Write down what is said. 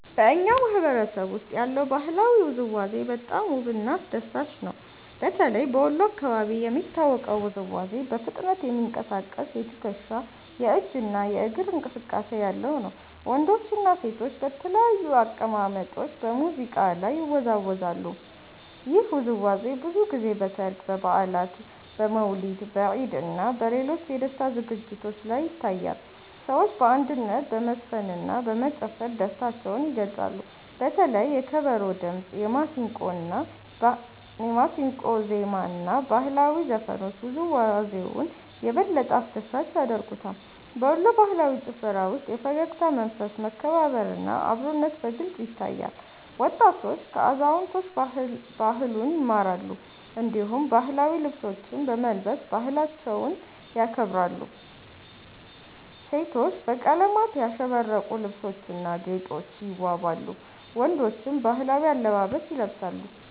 በእኛ ማህበረሰብ ውስጥ ያለው ባህላዊ ውዝዋዜ በጣም ውብና አስደሳች ነው። በተለይ በወሎ አካባቢ የሚታወቀው ውዝዋዜ በፍጥነት የሚንቀሳቀስ የትከሻ፣ የእጅ እና የእግር እንቅስቃሴ ያለው ነው። ወንዶችና ሴቶች በተለያዩ አቀማመጦች በሙዚቃ ላይ ይወዛወዛሉ። ይህ ውዝዋዜ ብዙ ጊዜ በሠርግ፣ በበዓላት፣ በመውሊድ፣ በኢድ እና በሌሎች የደስታ ዝግጅቶች ላይ ይታያል። ሰዎች በአንድነት በመዝፈንና በመጨፈር ደስታቸውን ይገልጻሉ። በተለይ የከበሮ ድምጽ፣ የማሲንቆ ዜማ እና ባህላዊ ዘፈኖች ውዝዋዜውን የበለጠ አስደሳች ያደርጉታል። በወሎ ባህላዊ ጭፈራ ውስጥ የፈገግታ መንፈስ፣ መከባበር እና አብሮነት በግልጽ ይታያል። ወጣቶች ከአዛውንቶች ባህሉን ይማራሉ፣ እንዲሁም ባህላዊ ልብሶችን በመልበስ ባህላቸውን ያከብራሉ። ሴቶች በቀለማት ያሸበረቁ ልብሶችና ጌጦች ይዋበዋሉ፣ ወንዶችም ባህላዊ አለባበስ ይለብሳሉ።